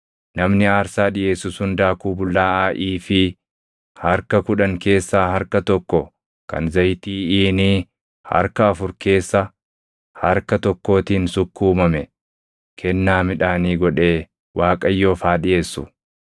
namni aarsaa dhiʼeessu sun daakuu bullaaʼaa iifii + 15:4 Iifiin tokko kiiloo giraamii 22. harka kudhan keessaa harka tokko kan zayitii iinii + 15:4 Iiniin tokko liitirii 4. harka afur keessa harka tokkootiin sukkuumame kennaa midhaanii godhee Waaqayyoof haa dhiʼeessu.